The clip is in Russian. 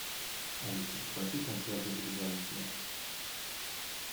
алиса попроси консьержа перезвонить мне